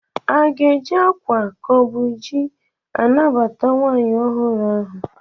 Aga-eji akwa ka ọ bụ ji anabata nwaanyị ọhụrụ ahụ?